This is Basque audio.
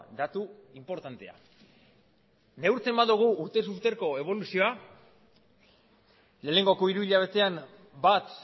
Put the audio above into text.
datu inportantea neurtzen badugu urtez urteko eboluzioa lehenengoko hiruhilabetean bat